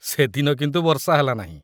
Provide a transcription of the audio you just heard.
ସେଦିନ କିନ୍ତୁ ବର୍ଷା ହେଲା ନାହିଁ।